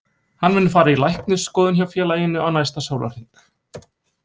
Hann mun fara í læknisskoðun hjá félaginu á næsta sólarhring.